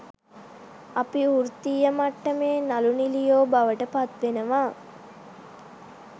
අපි වෘත්තීය මට්ටමේ නළු නිළියෝ බවට පත්වෙනවා.